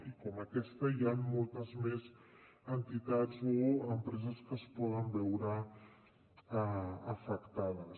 i com aquesta hi han moltes més entitats o empreses que es poden veure afectades